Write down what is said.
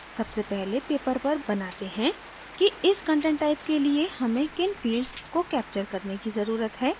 सबसे पहले paper पर बनाते हैं कि इस content type के लिए हमें किन fields को capture करने की जरूरत है